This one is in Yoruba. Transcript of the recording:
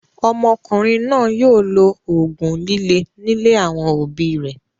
Ọmọkùnrin náà yóò lo òògùn líle nílé àwọn òbí rẹ̀.